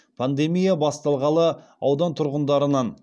пандемия басталғалы аудан тұрғындарынан